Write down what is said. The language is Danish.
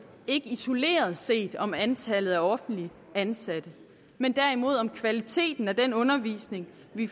ikke isoleret set om antallet af offentligt ansatte men derimod om kvaliteten af den undervisning vi